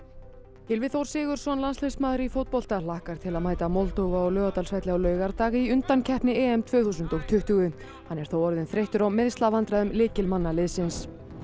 Gylfi Þór Sigurðsson landsliðsmaður í fótbolta hlakkar til að mæta Moldóvu á Laugardalsvelli á laugardag í undankeppni EM tvö þúsund og tuttugu hann er þó orðinn þreyttur á meiðslavandræðum lykilmanna liðsins